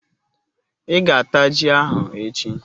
Ị ga-ata ji ahụ echi